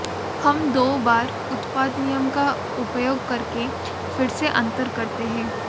हम दो बार उत्पाद नियम का उपयोग करके फिर से अंतर करते हैं